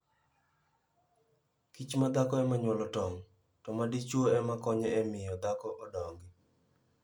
Kich ma dhako ema nyuolo tong', to ma dichwo ema konyo e miyo dhako odongi.